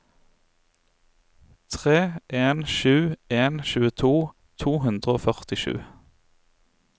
tre en sju en tjueto to hundre og førtisju